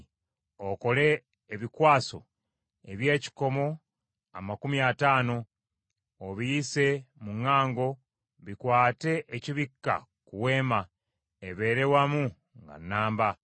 Okole ebikwaso eby’ekikomo amakumi ataano, obiyise mu ŋŋango, bikwate ekibikka ku Weema, ebeere wamu nga nnamba.